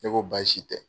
Ne ko baasi tɛ